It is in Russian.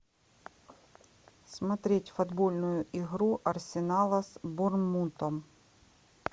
смотреть футбольную игру арсенала с борнмутом